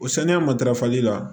O sanuya matarafali la